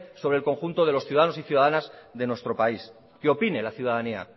sobre el conjunto de los ciudadanos y ciudadanas de nuestro país que opine la ciudadanía